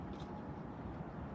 Bütün yollar gəlir bura.